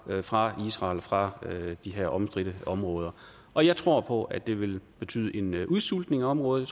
fra israel fra de her omstridte område og jeg tror på at det ville betyde en udsultning af området